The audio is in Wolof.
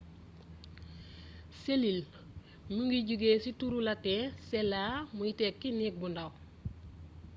selill mu ngi jogé ci turu latin cella muy tekki néeg bu ndàw